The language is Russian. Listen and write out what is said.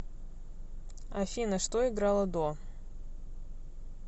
афина что играло до